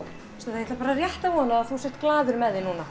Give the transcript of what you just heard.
ég ætla rétt að vona að þú sért glaður með þig núna